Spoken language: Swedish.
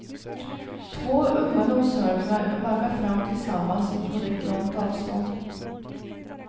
Två unga noshörningar vaggar fram tillsammans på rätt långt avstånd.